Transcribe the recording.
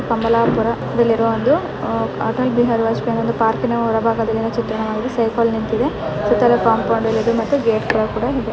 ಕಮಲಾಪುರ ಇಲ್ಲಿರುವಂದು ಅಟಲ್ ಬಿಹಾರಿ ವಾಜಪೇಯೀ ಪಾರ್ಕಿನ ಚಿತ್ರಣ ಸೈಕಲ್ ನಿಂತಿದೆ ಕಾಂಪೌಂಡ್ ಮತ್ತು ಗೇಟ್ ಕೂಡಾ ಇದೆ .